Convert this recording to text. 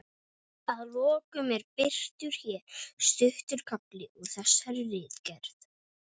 Að lokum er birtur hér stuttur kafli úr þessari ritgerð